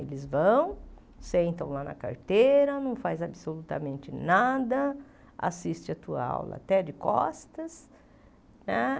Eles vão, sentam lá na carteira, não faz absolutamente nada, assiste a tua aula até de costas, né?